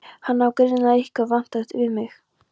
Hann á greinilega eitthvað vantalað við mig.